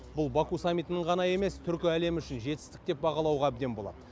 бұл баку саммитінің ғана емес түркі әлемі үшін жетістік деп бағалауға әбден болады